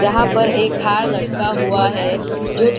यहाँ पर एक हार लटका हुआ है जो --